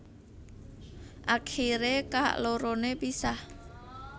Akiré kaloroné pisah